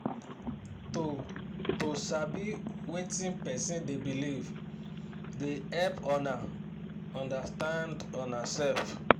to to sabi wetin person da belive da hep una undastand una sef